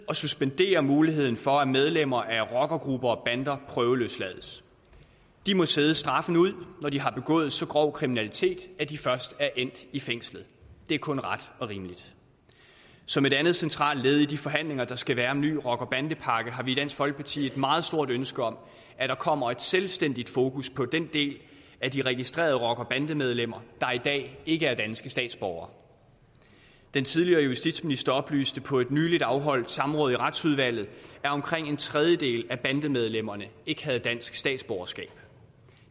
at suspendere muligheden for at medlemmer af rockergrupper og bander prøveløslades de må sidde straffen ud når de har begået så grov kriminalitet at de først er endt i fængslet det er kun ret og rimeligt som et andet centralt led i de forhandlinger der skal være om en ny rocker bande pakke har vi i dansk folkeparti et meget stort ønske om at der kommer et selvstændigt fokus på den del af de registrerede rockere og bandemedlemmer der i dag ikke er danske statsborgere den tidligere justitsminister oplyste på et nyligt afholdt samråd i retsudvalget at omkring en tredjedel af bandemedlemmerne ikke havde dansk statsborgerskab